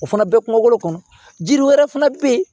O fana bɛ kungolo kɔnɔ jiri wɛrɛ fana bɛ yen